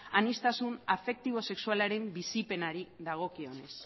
aniztasun afektibo sexualaren bizipenari dagokionez